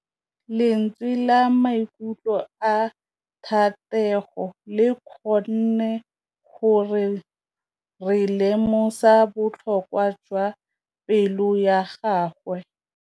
Lentswe la maikutlo a Thategô le kgonne gore re lemosa botlhoko jwa pelô ya gagwe.